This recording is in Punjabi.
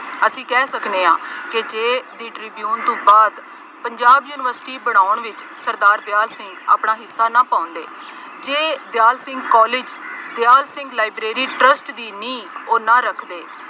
ਅਸੀਂ ਕਹਿ ਸਕਦੇ ਹਾਂ ਕਿ ਜੇ The Tribune ਤੋਂ ਬਾਅਦ ਪੰਜਾਬ ਯੂਨੀਵਰਸਿਟੀ ਬਣਾਉਣ ਵਿੱਚ ਸਰਦਾਰ ਦਿਆਲ ਸਿੰਘ ਆਪਣਾ ਹਿੱਸਾ ਨਾ ਪਾਉਂਦੇ, ਜੇ Dyal Singh College, Dyal Singh Library Trust ਦੀ ਨੀਂਹ ਉਹ ਨਾ ਰੱਖਦੇ